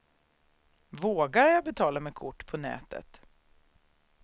Vågar jag betala med kort på nätet?